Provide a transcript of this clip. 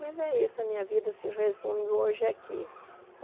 Mas é isso, a minha vida se resume hoje aqui.